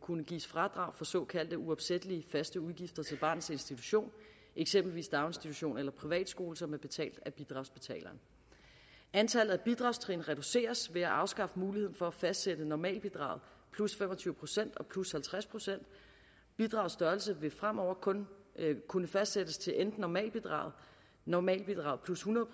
kunne gives fradrag for såkaldte uopsættelige faste udgifter til barnets institution eksempelvis daginstitution eller privatskole som er betalt af bidragsbetaleren antallet af bidragstrin reduceres ved at afskaffe muligheden for at fastsætte normalbidraget plus fem og tyve procent og plus halvtreds procent bidragets størrelse vil fremover kun kunne fastsættes til enten normalbidraget normalbidraget plus hundrede